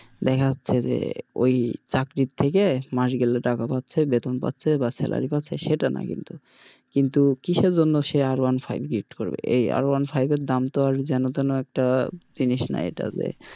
দেখা যাচ্ছে যে ওই চাকরির থেকে মাস গেলে টাকা পাচ্ছে বেতন পাচ্ছে বা salary পাচ্ছে সেটা না কিন্তু কিসের জন্য সে R one five gift করবে এই R one five এর আর দাম তো আর যেন তেনো একটা জিনিস না এটা যে,